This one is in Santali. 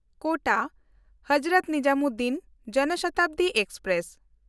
ᱠᱳᱴᱟ–ᱦᱚᱡᱨᱚᱛ ᱱᱤᱡᱟᱢᱩᱫᱽᱫᱤᱱ ᱡᱚᱱ ᱥᱚᱛᱟᱵᱫᱤ ᱮᱠᱥᱯᱨᱮᱥ